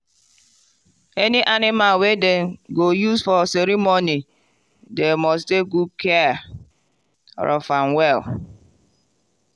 any animal wey dem go use for ceremony dem must take good care of am well.